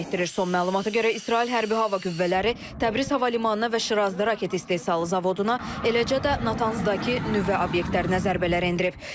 Son məlumata görə İsrail Hərbi Hava Qüvvələri Təbriz hava limanına və Şirazda raket istehsalı zavoduna, eləcə də Natanzdakı nüvə obyektlərinə zərbələr endirib.